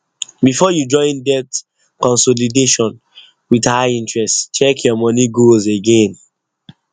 before you join debt consolidation with high interest check your money goals again